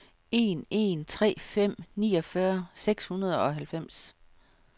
en en tre fem niogfyrre seks hundrede og halvfems